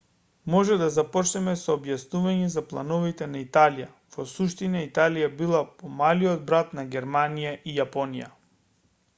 може да започнеме со објаснување за плановите на италија во суштина италија била помалиот брат на германија и јапонија